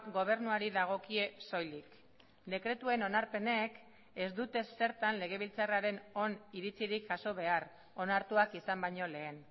gobernuari dagokie soilik dekretuen onarpenek ez dute zertan legebiltzarraren oniritzirik jaso behar onartuak izan baino lehen